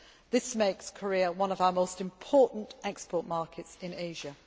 This makes Korea one of our most important export markets in Asia.